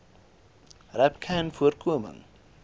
rapcanvoorkoming